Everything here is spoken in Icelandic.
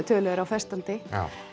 tölu er á festandi